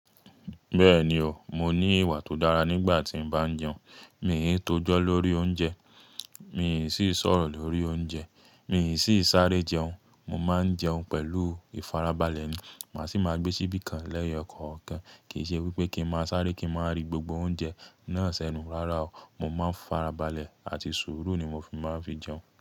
Bẹ́ẹ̀ni o, mo ní ìwà tó dára nígbà tí n bá n jẹun. Mi ò ń tojọ́ lórí oúnjẹ, mii sìi sọ̀rọ̀ lórí oúnjẹ, mii siì sáré jẹun. Mo máa ń jẹun pẹ̀lú ìfarabalẹ̀ ni. Màá sì máa gbé síbí kan lẹ́yọkọ̀ọ̀kan. Kì í ṣe wípé kí n máa sáré kí n máa rí gbogbo oúnjẹ náà sẹ́nu. Rárá o. Mo máa ń farabalẹ̀ àti sùúrù ni mo fi máa n fi jẹun.